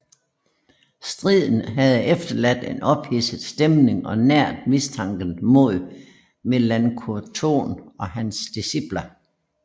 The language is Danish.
Striden havde efterladt en ophidset stemning og næret mistanken mod Melanchthon og hans disciple